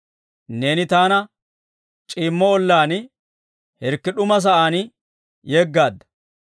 Neeni taana c'iimmo ollaan, hirkki d'uma sa'aan yeggaadda.